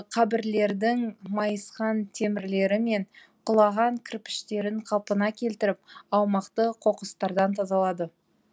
қабірлердің майысқан темірлері мен құлаған кірпіштерін қалпына келтіріп аумақты қоқыстардан тазалады